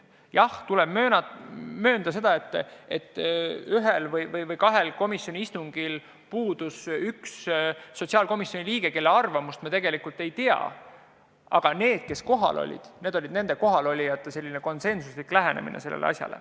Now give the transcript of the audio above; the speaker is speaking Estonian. Jah, tuleb möönda, et ühel või kahel komisjoni istungil puudus üks sotsiaalkomisjoni liige, kelle arvamust me tegelikult ei tea, aga need, kes kohal olid, lähenesid asjale konsensusega.